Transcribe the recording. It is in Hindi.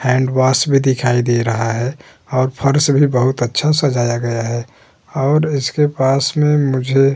हैंडवाश भी दिखाई दे रहा है और फर्श भी बहोत अच्छा सजाया गया है और इसके पास में मुझे --